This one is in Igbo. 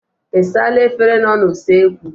Ị saala efere nọ n'usekwu?